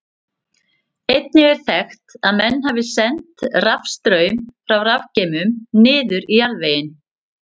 Einnig er þekkt að menn hafi sent rafstraum frá rafgeymum niður í jarðveginn.